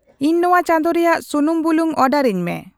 ᱤᱧ ᱱᱚᱶᱟ ᱪᱟᱸᱫᱚ ᱨᱮᱭᱟᱜ ᱥᱩᱱᱩᱢᱼᱵᱩᱞᱩᱝ ᱚᱨᱰᱟᱨᱟᱹᱧᱢᱮ